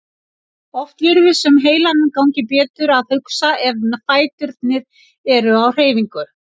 Oft virðist sem heilanum gangi betur að hugsa ef fæturnir eru á hreyfingu.